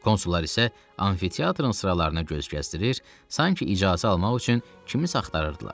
Konsullar isə amfiteatrın sıralarını gözdən keçirir, sanki icazə almaq üçün kimisə axtarırdılar.